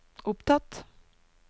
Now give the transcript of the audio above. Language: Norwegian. opptatt